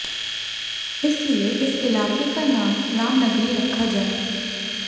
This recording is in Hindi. इस लिए इस इलाके का नाम रामनगरी रखा जाए